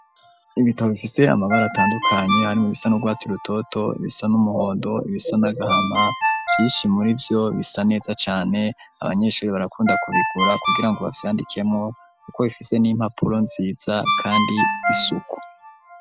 Ibitabo, bifise amabara, atandukanye, harimwo ibisa n'urwatsi rutoto, ibisa n'umuhondo, ibisa n'agahama; vyinshi muri vyo, bisa neza cane; abanyeshuri, barakunda kubigura, kugira ngo, bavyandikemwo, kuko bifise n'impapuro nziza, kandi isuku.